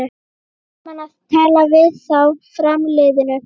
Gaman að tala við þá framliðnu